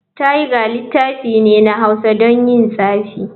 Thger littafi ne na hausa don yin tsafi.